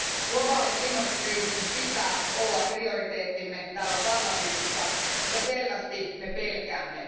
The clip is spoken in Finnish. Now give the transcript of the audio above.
Globaalin ilmastokriisin pitää olla prioriteettimme täällä parlamentissa, mutta selvästi me pelkäämme.